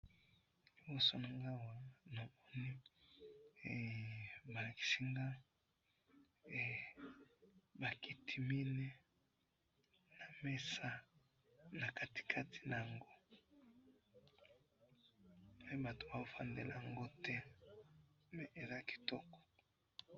na liboso nangai awa namoni balakisi ngai bakiti minei na mesa nakati kati yango mais batu bazo fandela yango te mais eza kitoko